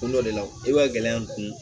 Ko dɔ de la i ka gɛlɛya n